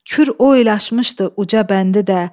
Kür o el açmışdı uca bəndi də.